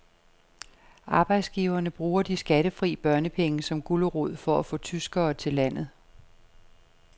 Arbejdsgiverne bruger de skattefri børnepenge som gulerod for at få tyskere til landet.